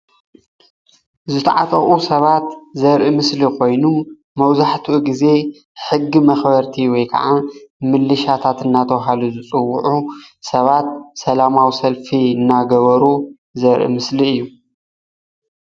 ዝተዓጠቁ ሰባት ዘርኢ ምስሊ ኮይኑ መብዛሕትኡ ግዜ ሕጊ መክበርቲ ወይ ከዓ ምልሻታት እንዳተባሃሉ ዝፅውዑ ሰባት ሰላማዊ ሰልፊ እንዳገበሩ ዘርኢ ምስሊ እዩ፡፡